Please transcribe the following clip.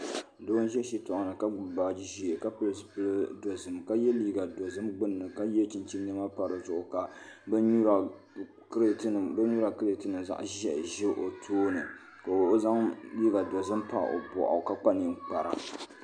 Doo n ʒɛ shitoɣu ni ka gbubi baaji ƶiɛ ka pili zipili dozim ka yɛ liiga dozim gbunni ka yɛ chinchin niɛma pa dizuɣu ka bin nyura kirɛt nim zaɣ ʒiɛhi ʒɛ o tooni ka o zaŋ liiga dozim pa o boɣu ka kpa ninkpara